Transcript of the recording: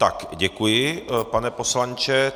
Tak děkuji, pane poslanče.